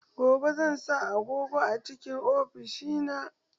Gobe zan sa agogo a cikn ofishina.